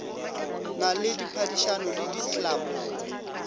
na le diphadišano le diklapo